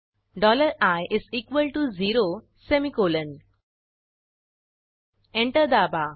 dollar i is equal to zero semicolon enter दाबा